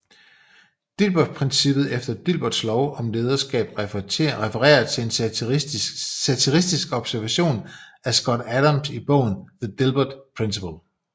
Dilbertprincippet eller Dilberts lov om lederskab refererer til en satirisk observation af Scott Adams i bogen The Dilbert Principle